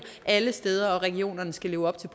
alle steder og at regionerne skal leve op til